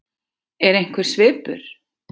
Er einhver svipur?